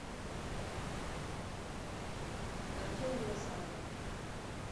артема назарова